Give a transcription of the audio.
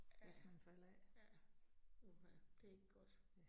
Ja, ja. Uha det ikke godt